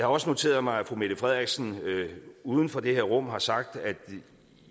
også noteret mig at fru mette frederiksen uden for det her rum har sagt at